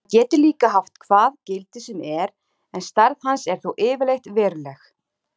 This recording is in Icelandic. Hann getur líka haft hvað gildi sem er en stærð hans er þó yfirleitt veruleg.